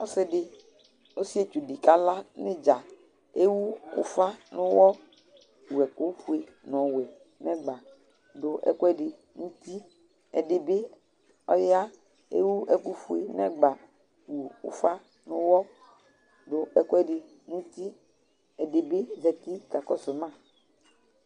Ɔsɩetsʊ dɩ kala nɩɖza, ewʊ ʊfa nuƴɔ, wʊ ɛkʊ fue nɔwɛ nɛgba, dʊ ɛkʊɛdɩ nʊtɩ Ɛdibi ɔya ewʊ ɛkʊ fue nɛgba, nu ʊfa nuyɔ, dʊ ɛkuɛdɩ nutɩ Ɛdɩbɩ zatɩ kakɔsʊ ma